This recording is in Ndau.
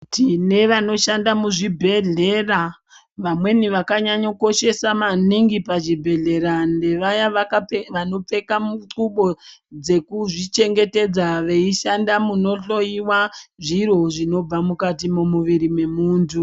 Tine vanoshanda muzvibhedhlera vamweni vakanyanya kukoshesa maningi pachibhedhleya ndevaya vanopfeka mudhlubo dzekuzvichengetedza. Veishanda munohloiwa zviro zvinobva mukati mwemuviri mwemuntu.